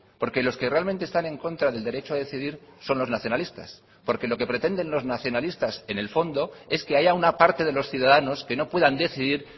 porque los que realmente están en contra del derecho a decidir son los nacionalistas porque lo que pretenden los nacionalistas en el fondo es que haya una parte de los ciudadanos que no puedan decidir